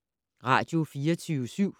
Radio24syv